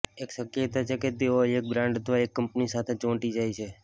એક શક્યતા છે કે તેઓ એક બ્રાન્ડ અથવા એક કંપની સાથે ચોંટી જાય છે